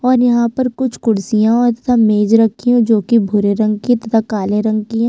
और यहाँ पर कुछ कुर्सियां और तथा मेज रखी हुई है जो की भूरे रंग की तथा काले रंग की है।